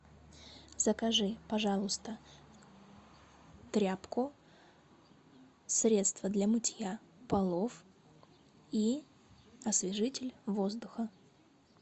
закажи пожалуйста тряпку средство для мытья полов и освежитель воздуха